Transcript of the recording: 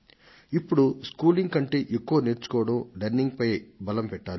ఇప్పుడు స్కూలింగ్ కంటే ఎక్కువగా నేర్చుకోవడం లెర్నింగ్పై శ్రద్ధ తీసుకోవాలి